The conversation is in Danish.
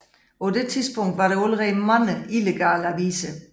På det tidspunkt var der allerede mange illegale aviser